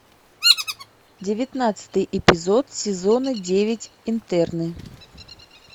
девятнадцатый эпизод сезона девять интерны